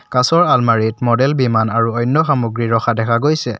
কাঁচৰ আলমাৰিত মডেল বিমান আৰু অন্য সামগ্ৰী ৰখা দেখা গৈছে।